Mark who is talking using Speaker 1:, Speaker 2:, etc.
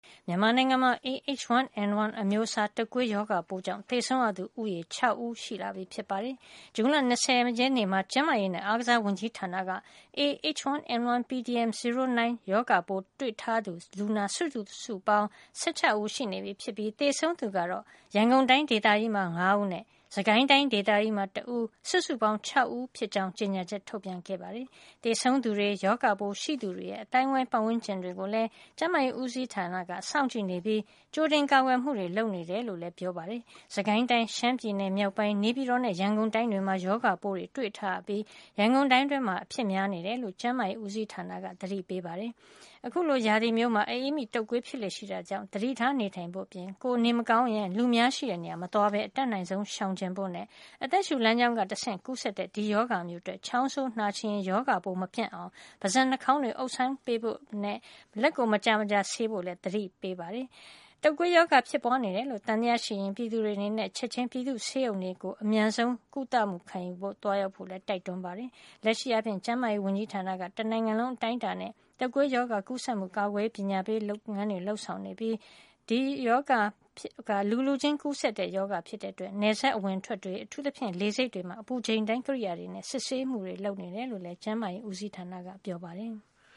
Speaker 1: မြန်မာနိုင်ငံမှာ A- H1N1 အမျိုးအစား တုပ်ကွေးရောဂါပိုးကြောင့် သေဆုံးသူဦးရေ ၆ ဦး ထိရှိနေပြီဖြစ်ပါတယ်။ ဇွန်လ ၂၀ ရက်နေ့မှာ ကျန်းမာရေးနဲ့ အားကစား ဝန်ကြီးဌာက A- H1N1 pdm 09 ရောဂါပိုးတွေ့ရှိထားသူ လူနာစုစုပေါင်း ၁၆ ဦး ရှိနေပြီး သေဆုံးသူကတော့ ရန်ကုန်တိုင်း ဒေသကြီးမှာ ၅ ဦးနဲ့ စစ်ကိုင်းတိုင်း ဒေသကြီးမှာ တဦး စုစုပေါင်း ၆ ဦးဖြစ်ကြောင်း ကြေညာချက်ထုတ်ပြန်ခဲ့ပါတယ်။ သေဆုံးသူတွေ ၊ရောဂါပိုးရှိသူတွေရဲ့ အသိုင်းအဝိုင်း ပတ်ဝန်းကျင်တွေကိုလည်း ကျန်းမာရေးဦးစီးဌာနက စောင့်ကြည့်နေပြီး ကြိုတင်ကာကွယ်မှုတွေ လုပ်နေတယ်လို့လည်း ကျန်းမာရေးတာဝန်ခံတွေက ပြောပါတယ်။ စစ်ကိုင်းတိုင်း၊ ရှမ်းပြည်နယ်မြောက်ပိုင်း ၊နေပြည်တော်နဲ့ ရန်ကုန်တိုင်းတွေမှာ ရောဂါပိုးတွေ တွေ့ထားရပြီး ရန်ကုန်တိုင်းတွင်းမှာ အဖြစ်များနေတယ်လို့ ကျန်းမာရေးဦးစီးဌာနက အသိပေးထားပါတယ်။ အခုလို ရာသီမျိုးမှာ အအေးမိ၊ တုပ်ကွေးဖြစ်လေ့ရှိတာကြောင့် သတိထားနေထိုင်ဖို့ အပြင် ကိုယ်က နေထိုင်မကောင်းဘူးဆိုရင် လူအများရှိတဲ့နေရာကို မသွားလာပဲ အတတ်နိုင်ဆုံးရှောင်ကြဉ်ကြဖို့ နဲ့ အသက်ရှုလမ်းကြောင်းကနေ တဆင့်ကူးတဲ့ ဒီရောဂါမျိုးအတွက် ချောင်းဆိုး နှာချေရင် ရောဂါပိုးမပြန့်ပွားအောင် ပါးစပ် နှာခေါင်းတွေကို အုပ်ဆိုင်းပေးဖို့ လက်ကို မကြာမကြာ ဆေးကြောဖို့ လည်း သတိပေးထားပါတယ်။ တုပ်ကွေးရောဂါဖြစ်ပွားနေတယ်လို့ သံသယရှိရင် ပြည်သူတွေအနေနဲ့ ချက်ချင်း ပြည်သူ့ဆေးရုံတွေဆီကို အမြန်ဆုံးကုလမှု လာရောက်ခံယူကြဖို့လည်း တိုက်တွန်းပါတယ်။ လက်ရှိအားဖြင့်တေ့ာ ကျန်းမာရေးဝန်ကြီးဌာန တနိုင်ငံလုံးအတိုင်းအတာနဲ H1N1 တုပ်ကွေးရောဂါ ကူးစက်မှု ကာကွယ်ရေး ပညာပေးလုပ်ငန်းတွေ လုပ်ဆောင်နေပါတယ်။ လူလူချင်း ကူးစက်တဲ့ ရောဂါဖြစ်တဲ့အတွက် နယ်စပ်အဝင်အထွက်တွေ ၊ အထူးသဖြင့် လေဆိပ်တွေမှာ အပူချိန်တိုင်း ကိရိယာတွေနဲ့ စစ်ဆေးမှုတွေ ပြုလုပ်နေတယ်လို့ လည်း ကျန်းမာရေးဦးစီးဌာနကပြောပါတယ်။